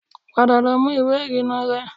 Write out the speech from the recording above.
Padà lọ mú ìwé ìrìnnà rẹ